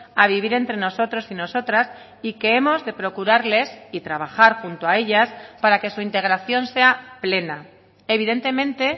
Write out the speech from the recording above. a vivir entre nosotros y nosotras y que hemos de procurarles y trabajar junto a ellas para que su integración sea plena evidentemente